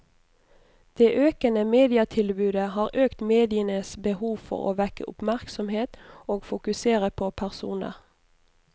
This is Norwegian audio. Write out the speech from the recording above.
Det økende mediatilbudet har økt medienes behov for å vekke oppmerksomhet og fokusere på personer.